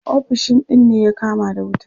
Ofishin din ne ya kama da wuta.